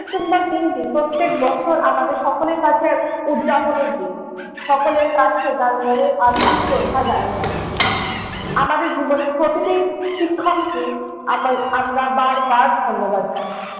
September দিনটি প্রত্যেক বছর আমাদের সকলের কাছে এক উদযাপনের দিন, সকলের কাছে তার মনের আন্তরিক শ্রদ্ধা জানানোর দিন। আমাদের জীবনের প্রতিটি শিক্ষককে আম~ আমরা বারবার ধন্যবাদ জানাই।